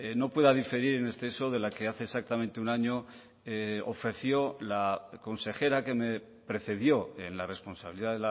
no pueda diferir en exceso de la que hace exactamente un año ofreció la consejera que me precedió en la responsabilidad